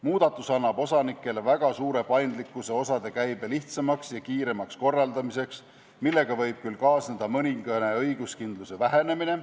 Muudatus annab osanikele väga suure paindlikkuse osade käibe lihtsamaks ja kiiremaks korraldamiseks, millega võib küll kaasneda mõningane õiguskindluse vähenemine.